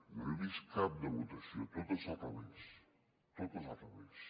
no n’he vist cap de votació totes al revés totes al revés